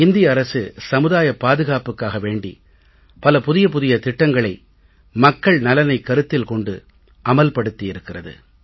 இந்திய அரசு சமுதாய பாதுகாப்புக்காக வேண்டி பல புதிய புதிய திட்டங்களை மக்கள் நலனைக் கருத்தில் கொண்டு அமல் படுத்தி இருக்கிறது